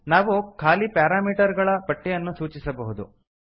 ನಾವು ಖಾಲಿ ಪಾರಾಮೀಟರ್ ಗಳ ಪಟ್ಟಿ ಯನ್ನು ಸೂಚಿಸಬಹುದು